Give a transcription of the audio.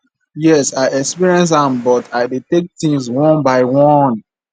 yes i experience am but i dey take things one by one